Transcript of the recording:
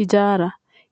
Hijaara.